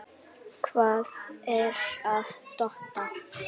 Hvað er að Dodda?